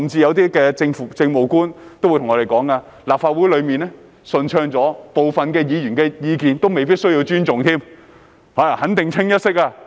有些政務官甚至揚言立法會運作已變得順暢，部分議員的意見未必需要尊重，因肯定是"清一色"。